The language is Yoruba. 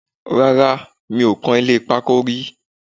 Rárá, mi ò kan ilé pákó rí